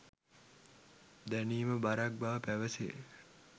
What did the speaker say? දැනීම බරක් බව පැවසේ.